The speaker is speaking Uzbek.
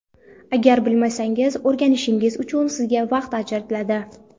Agar bilmasangiz, o‘rganishingiz uchun sizga vaqt ajratiladi.